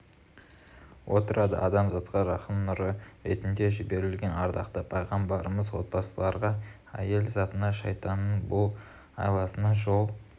отырады адамзатқа рахым нұры ретінде жіберілген ардақты пайғамбарымыз отбасыларға әйел затына шайтанның бұл айласына жол